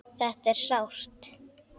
Þetta er sárt.